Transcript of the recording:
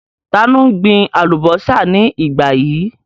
Ta ni ó ń gbin àlùbọ́sà ní ìgbà yìí?